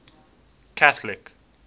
catholic